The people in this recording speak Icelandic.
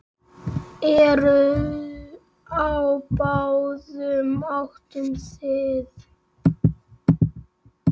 Eru á báðum áttum þið.